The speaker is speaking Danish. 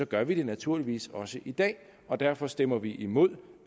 gør vi det naturligvis også i dag og derfor stemmer vi imod